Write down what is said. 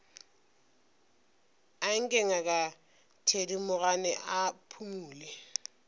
anke ngaka thedimogane a phumole